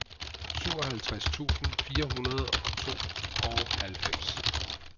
syvoghalvtreds tusind fire hundrede og tooghalvfems